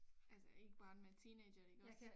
Altså ikke barn men teenager iggås